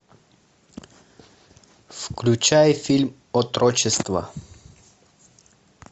включай фильм отрочество